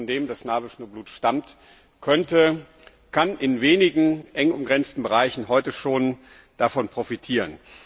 das Kind, von dem das Nabelschnurblut stammt, kann in wenigen eng umgrenzten Bereichen heute schon davon profitieren.